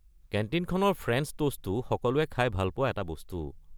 কেণ্টিনখনৰ French ট'ষ্টো সকলোৱে খাই ভাল পোৱা এটা বস্তু।